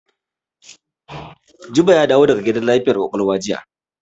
Jibo ya dawo daga gidan lafiyar ƙwaƙwalwa jiya.